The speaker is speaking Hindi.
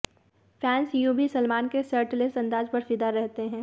फैंस यूं भी सलमान के शर्टलेस अंदाज पर फिदा रहते हैं